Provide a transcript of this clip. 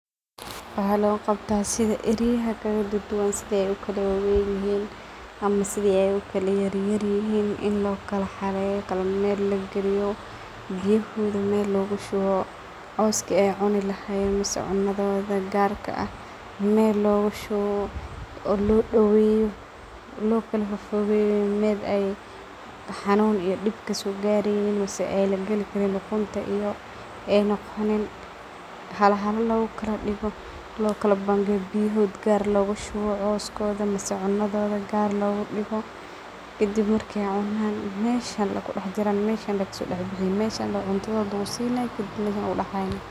Waxa logu qaabta sidha ariyaha kaladuduwaan sidhay ukala waweynihiin ama sidha ay ukala yaryarihiin in loo kala xareyo kala meel lagiliyo biyohodha meel lagu shuwo cooska aay cuni lahayeen misa cunodhodha gaarka aah meel loogoshuwo oo loo daweyo loo kala fofogeyo meel ay xanuun iyo diib kasogareynin mise ay lagali karin lugunta iyo ay noogonin hala hala logokaladigo loo kala bangeyo biyohodha gaar loogoshuwo coos kodha mise cunadhodha gaar logadigo kadib marki ay cunan meshan lay kudaxjiraan meshan ay kaso daxbixin mehan lay cuntodhodha lagu sinay kadib lagu daxhayna.